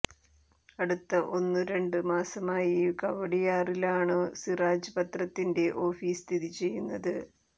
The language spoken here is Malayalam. അടുത്ത ഒന്നു രണ്ടുമാസമായി കവടിയാറിലാണു സിറാജ് പത്രത്തിൻ്റെ ഓഫീസ് സ്ഥിതി ചെയ്യുന്നത്